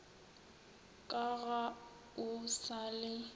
ka ga o sa le